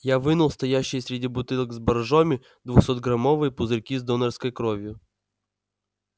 я вынул стоящие среди бутылок с боржоми двухсотграммовые пузырьки с донорской кровью